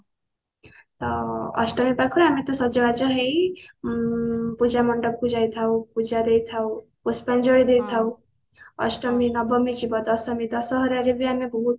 ଅ ଅଷ୍ଟମୀ ପାଖରୁ ଆମେ ତ ସଜବାଜ ହେଇ ଉଁ ପୂଜା ମଣ୍ଡପ କୁ ଯାଇଥାଉ ପୂଜାରେ ଥାଉ ପୁଷ୍ପାଞ୍ଜଳି ଦେଇଥାଉ ଅଷ୍ଟମୀ ନବମୀ ଦଶମୀ ଦଶହରାରେ ବି ଆମେ କହୁ